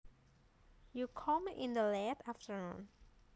You come in the late afternoon